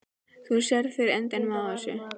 Þú sérð fyrir endanum á þessu?